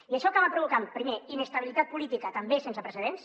i això acaba provocant primer inestabilitat política també sense precedents